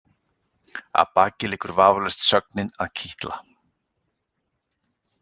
Að baki liggur vafalaust sögnin að kitla.